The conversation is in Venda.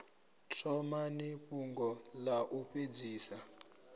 thomani fhungo ḽa u fhedzisela